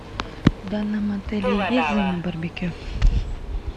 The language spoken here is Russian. в данном отеле есть зона барбекю